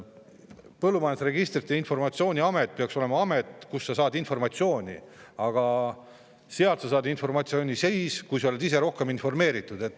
Põllumajanduse Registrite ja Informatsiooni Amet peaks olema amet, kust sa saad informatsiooni, aga sa saad sealt informatsiooni siis, kui sa oled ise informeeritud.